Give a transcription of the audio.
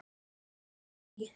Af hverju nei?